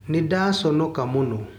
Nĩda conoka mũno.